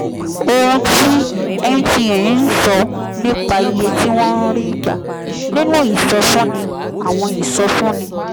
ohun tí mtn ń sọ nípa iye tí wọ́n ń rí gbà nínú ìsọfúnni àwọn ìsọfúnni